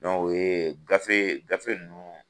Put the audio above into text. o ye gafe, gafe nunnu